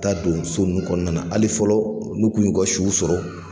Taa don so nunnu kɔnɔna na, hali fɔlɔ olu y'u kun yu ka suw sɔrɔ.